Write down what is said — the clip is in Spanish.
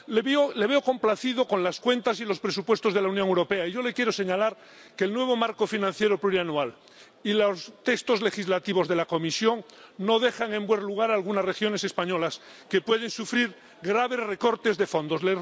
Le veo complacido con las cuentas y los presupuestos de la Unión Europea, y yo le quiero señalar que el nuevo marco financiero plurianual y los textos legislativos de la Comisión no dejan en buen lugar a algunas regiones españolas, que pueden sufrir graves recortes de fondos.